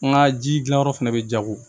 N ka ji gilanyɔrɔ fɛnɛ be jago